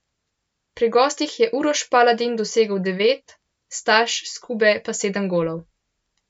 Pri gostih je Uroš Paladin dosegel devet, Staš Skube pa sedem golov.